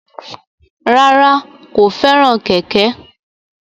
Rárá, kò fẹ́ràn kẹ̀kẹ́